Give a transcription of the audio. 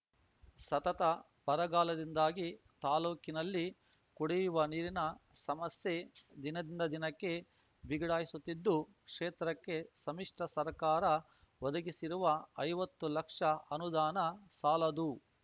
ಸತತ ಬರಗಾಲದಿಂದಾಗಿ ತಾಲೂಕಿನಲ್ಲಿ ಕುಡಿಯುವ ನೀರಿನ ಸಮಸ್ಯೆ ದಿನದಿಂದ ದಿನಕ್ಕೆ ಬಿಗಡಾಯಿಸುತ್ತಿದ್ದು ಕ್ಷೇತ್ರಕ್ಕೆ ಸಮ್ಮಿಶ್ರ ಸರ್ಕಾರ ಒದಗಿಸಿರುವ ಐವತ್ತು ಲಕ್ಷ ಅನುದಾನ ಸಾಲದು